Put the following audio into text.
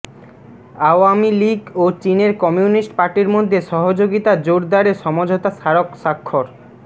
আওয়ামী লীগ ও চীনের কমিউনিস্ট পার্টির মধ্যে সহযোগিতা জোরদারে সমঝোতা স্মারক স্বাক্ষর